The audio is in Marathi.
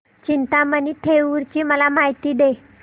चिंतामणी थेऊर ची मला माहिती दे